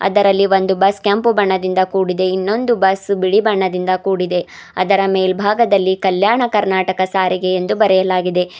ಇದರಲ್ಲಿ ಒಂದು ಬಸ್ ಕೆಂಪು ಬಣ್ಣದಿಂದ ಕೂಡಿದೆ ಇನ್ನೊಂದು ಬಸ್ ಬಿಳಿ ಬಣ್ಣದಿಂದ ಕೂಡಿದೆ ಅದರ ಮೇಲ್ಭಾಗದಲ್ಲಿ ಕಲ್ಯಾಣ ಕರ್ನಾಟಕ ಸಾರಿಗೆ ಎಂದು ಬರೆಯಲಾಗಿದೆ.